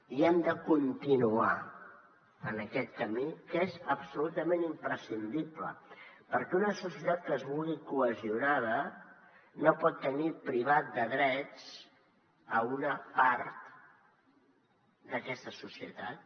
i hem de continuar en aquest camí que és absolutament imprescindible perquè una societat que es vulgui cohesionada no pot tenir privada de drets una part d’aquesta societat